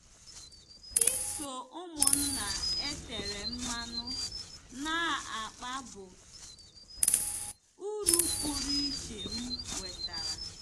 Iso ụmụnna e tere mmanụ na-akpa bụ uru pụrụ iche m nwetara.